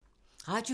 Radio 4